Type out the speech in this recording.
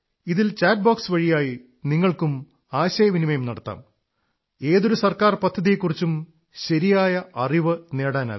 ഇതിൽ chat box വഴിയായി നിങ്ങൾക്ക് ആശയവിനിമയം നടത്താം ഏതൊരു സർക്കാർ പദ്ധതിയെക്കുറിച്ചും ശരിയായ അിറവ് നേടാനാകും